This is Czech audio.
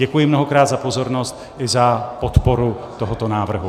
Děkuji mnohokrát za pozornost i za podporu tohoto návrhu.